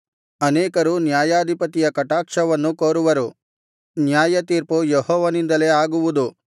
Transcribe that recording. ಅನೇಕರು ನ್ಯಾಯಾಧಿಪತಿಯ ಕಟಾಕ್ಷವನ್ನು ಕೋರುವರು ನ್ಯಾಯತೀರ್ಪು ಯೆಹೋವನಿಂದಲೇ ಆಗುವುದು